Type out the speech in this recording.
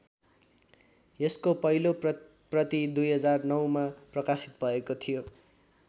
यसको पहिलो प्रति २००९ मा प्रकाशित भएको थियो।